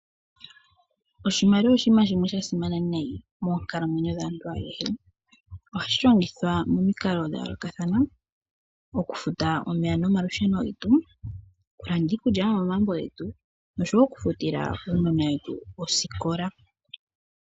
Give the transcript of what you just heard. Oshimaliwa oshinima shimwe sha simana nayi moonkalamweyo dhaantu ayehe. Ohashi longithwa momikalo dha yoolokathana. Okufuta omeya nomalusheo getu, okulanda iikulya yo momagumbo getu noshowo okufutila aanona yetu osikola.